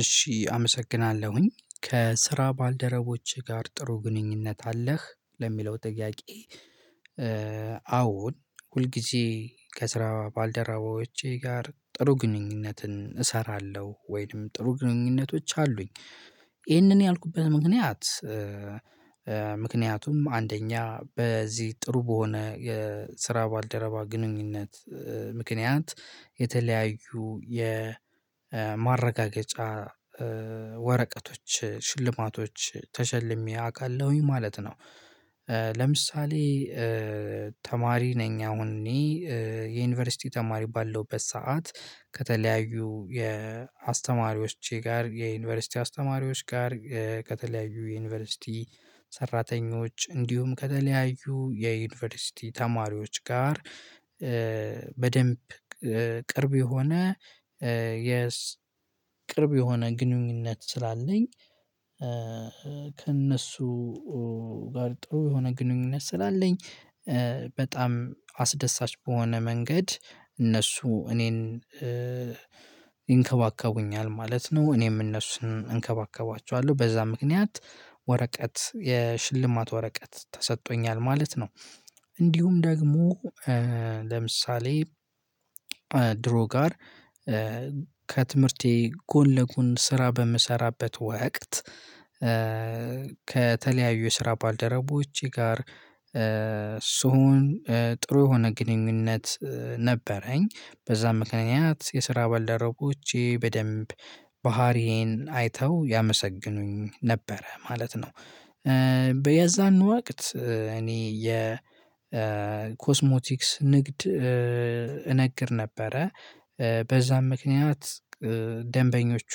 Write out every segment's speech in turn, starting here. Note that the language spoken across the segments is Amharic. እሺ አመሰግናለሁኝ ከስራ ባልደረቦቼ ጋር ጥሩ ግንኙነት አለህ? ለሚለው ጥያቄ አዎን ሁል ጊዜ ከስራ ባልደራቦቼ ጋር ጥሩ ግንኙነትን እሰራለሁ ወይንም ጥሩ ግንኙነቶች አሉኝ ይሄንን ያልኩብህ ምክንያት ምክንያቱም አንደኛ በዚህ ጥሩ በሆነ የስራ ባልደረባ ግንኙነት ምክንያት የተለያዩ የማረጋገጫ ወረቀቶች ሽልማቶች ተሸልሜ አውቃለሁኝ ማለት ነው። ለምሳሌ ተማሪ ነኝ አሁን እኔ የዩኒቨርሲቲ ተማሪ ባለውበት ሰዓት ከተለያዩ የአስተማሪዎቼ ጋር የዩኒቨርሲቲ አስተማሪዎች ጋር፣ ከተለያዩ የዩኒቨርሲቲ ሰራተኞች፣ እንዲሁም ከተለያዩ የዩኒቨርሲቲ ተማሪዎች ጋር፣ በደንብ ቅርብ የሆነ የስ ቅርብ የሆነ ግንኙነት ስላለኝ ከእነሱ ጋር ጥሩ የሆነ ግንኙነት ስላለኝ በጣም አስደሳች በሆነ መንገድ እነሱ እኔን ይንከባከቡኛል ማለት ነው፣ እኔም እነሱን እንከባከባቸዋለሁ በዛ ምክንያት ወረቀት የሽልማት ወረቀት ተሰጥቶኛል ማለት ነው። እንዲሁም ደግሞ ለምሳሌ ድሮ ጋር ከትምህርቴ ጎን ለጎን ስራ በምሰራበት ወቅት ከተለያዩ ስራ ባልደረቦቼ ጋር ስሆን ጥሩ የሆነ ግንኙነት ነበረኝ በዛ ምክንያት የስራ ባልደረቦቼ በደንብ ባህሪዬን አይተው ያመሰገኑኝ ነበረ ማለት ነው። በየዛን ወቅት እኔ የ የኮስሞቲክስ ንግድ እነግድ ነበረ፣ በዛም ምክንያት ደንበኞቹ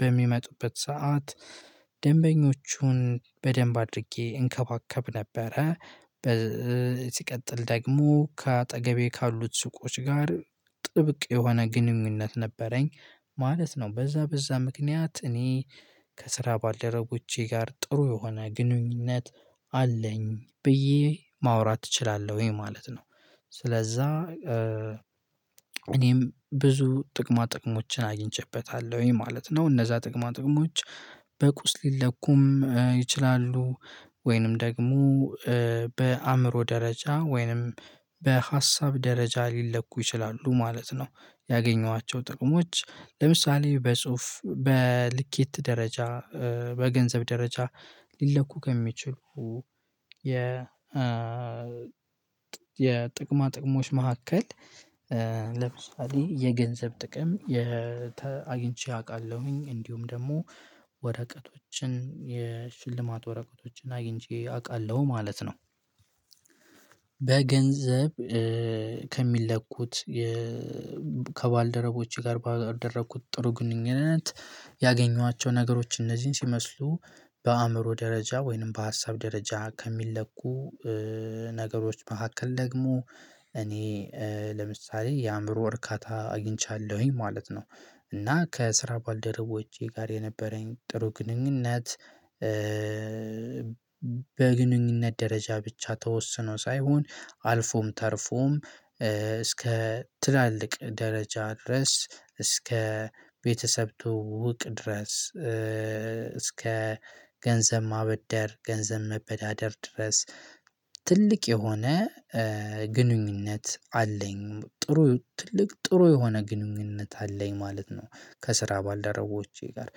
በሚመጡበት ሰዓት ደንበኞቹን በደንብ አድርጌ እንከባከብ ነበረ ሲቀጥል ደግሞ ከአጠገቤ ካሉት ሱቆች ጋር ጥብቅ የሆነ ግንኙነት ነበረኝ ማለት ነው በዛ በዛ ምክንያት እኔ ከስራ ባልደረቦቼ ጋር ጥሩ የሆነ ግንኙነት አለኝ ብዬ ማውራት እችላለሁኝ ማለት ነው። ስለዛ እኔም ብዙ ጥቅማ ጥቅሞችን አግኝቼበታለሁኝ ማለት ነው። እነዛ ጥቅማ ጥቅሞች በቁስ ሊለኩም ይችላሉ ወይንም ደግሞ በአእምሮ ደረጃ ወይንም በሀሳብ ደረጃ ሊለኩ ይችላሉ ማለት ነው። ያገኘኋቸው ጥቅሞች ለምሳሌ በጽሁፍ በልኬት ደረጃ፣ በገንዘብ ደረጃ ሊለኩ ከሚችሉ የ የ የጥቅማ ጥቅሞች መካከል ለምሳሌ የገንዘብ ጥቅም አግንቼ አውቃለሁኝ እንዲሁም ደግሞ ወረቀቶችን የሽልማት ወረቀቶችን አግኝቼ አውቃለሁ ማለት ነው። በገንዘብ ከሚለኩት ከባልደረቦቼ ጋር ባደረኩት ጥሩ ግንኙነት ያገኟቸው ነገሮች እነዚህን ሲመስሉ በአእምሮ ደረጃ ወይንም በሀሳብ ደረጃ ከሚለኩ ነገሮች መካከል ደግሞ እኔ ለምሳሌ የአእምሮ እርካታ አግኝቻለሁኝ ማለት ነው እና ከስራ ባልደረቦቼ ጋር የነበረኝ ጥሩ ግንኙነት በግንኙነት ደረጃ ብቻ ተወስኖ ሳይሆን አልፎም ተርፎም እስከ ትላልቅ ደረጃ ድረስ እስከ ቤተሰብ ትውዉቅ ድረስ እስከ ገንዘብ ማበደር፣ ገንዘብ መበዳደር ድረስ ትልቅ የሆነ ግንኙነት አለኝ ጥሩ ትልቅ ጥሩ የሆነ ግንኙነት አለኝ ማለት ነው ከስራ ባልደረቦቼ ጋር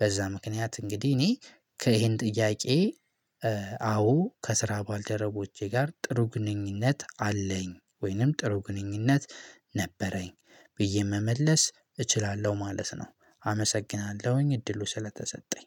በዛ ምክንያት እንግዲህ እኔ ከይሄን ጥያቄ አዎ ከስራ ባልደረቦቼ ጋር ጥሩ ግንኙነት አለኝ ወይንም ጥሩ ግንኙነት ነበረኝ ብዬ መመለስ እችላለሁ ማለት ነው አመሰግናለሁኝ እድሉ ስለተሰጠኝ።